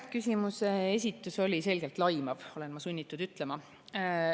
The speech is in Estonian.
Küsimuse esitus oli selgelt laimav, olen ma sunnitud ütlema.